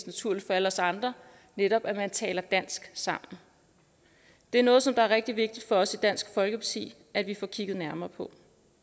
naturligt for alle os andre netop at tale dansk sammen det er noget som er rigtig vigtigt for os i dansk folkeparti at vi får kigget nærmere på